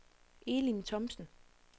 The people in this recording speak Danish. Elin Thomsen